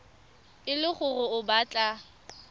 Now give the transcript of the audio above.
e le gore o batla